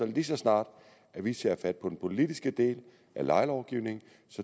lige så snart vi tager fat på den politiske del af lejelovgivningen